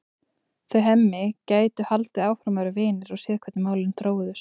Þau Hemmi gætu haldið áfram að vera vinir og séð hvernig málin þróuðust.